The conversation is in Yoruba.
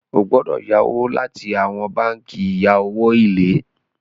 o gbọdọ yawọ láti awọn bánkì ìya owo ilé.